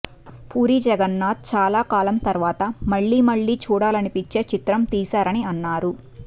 పూరి జగన్నాథ్ చాలా కాలం తరువాత మళ్ళీ మళ్ళీ చూడాలనిపించే చిత్రం తీసారని అన్నారు